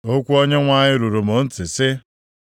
Okwu Onyenwe anyị ruru m ntị, sị,